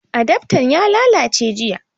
Adaftan ya lallace jiya